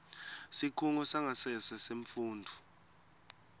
sikhungo sangasese semfundvo